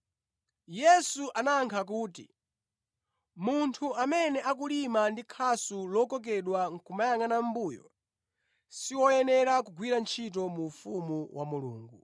Yesu anayankha kuti, “Munthu amene akulima ndi khasu lokokedwa nʼkumayangʼana mʼmbuyo, si woyenera kugwira ntchito mu ufumu wa Mulungu.”